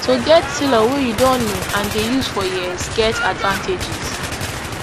to get tailor wey you don know and dey use for years get advantages